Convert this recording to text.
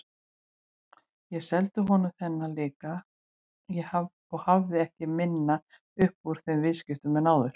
Ég seldi honum þennan líka og hafði ekki minna upp úr þeim viðskiptum en áður.